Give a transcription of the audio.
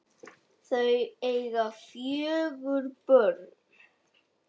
Þau eiga fjögur börn